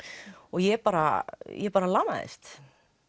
ég bara ég bara lamaðist